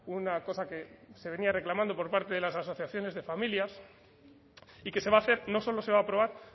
una cosa que se venía reclamando por parte de las asociaciones de familias y que se va a hacer no solo se va a aprobar